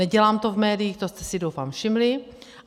Nedělám to v médiích, to jste si doufám všimli.